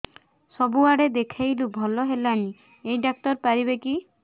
ସବୁଆଡେ ଦେଖେଇଲୁ ଭଲ ହେଲାନି ଏଇ ଡ଼ାକ୍ତର ପାରିବେ କି